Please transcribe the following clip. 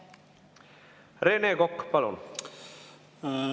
Rene Kokk, palun!